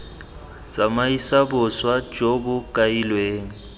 tsamaisa boswa jo bo kailweng